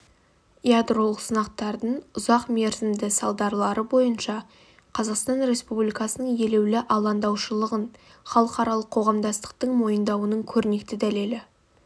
ядролық сынақтардың ұзақ мерзімді салдарлары бойынша қазақстан республикасының елеулі алаңдаушылығын халықаралық қоғамдастықтың мойындауының көрнекті дәлелі